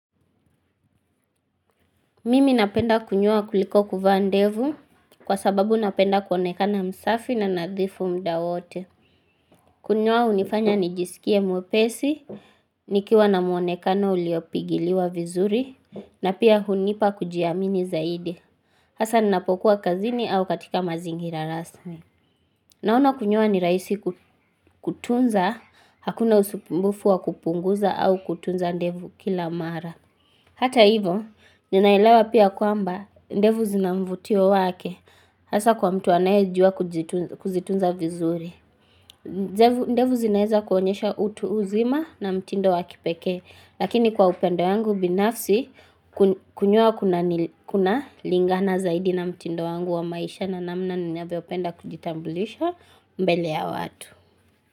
Mimi napenda kunyoa kuliko kuvaa ndevu kwa sababu napenda kuonekana msafi na nadhifu mda wote. Kunyoa hunifanya nijisikie mwepesi, nikiwa na muonekana uliopigiliwa vizuri, na pia hunipa kujiamini zaidi. Hasa ninapokuwa kazini au katika mazingira rasmi. Naona kunyoa ni rahisi kutunza, hakuna usumbufu wa kupunguza au kutunza ndevu kila mara. Hata hivyo, ninaelewa pia kwamba ndevu zina mvutio wake hasa kwa mtu anayejua kuzitunza vizuri. Ndevu zinaweza kuonyesha utu uzima na mtindo wa kipekee, lakini kwa upande yangu binafsi kunyoa kunalingana zaidi na mtindo wangu wa maisha na namna ninavyopenda kujitambulisha mbele ya watu.